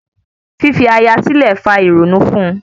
Fífi aya silẹ le fa ìrònú fun-un